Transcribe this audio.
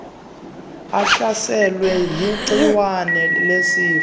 ahlaselwe ligciwane lesifo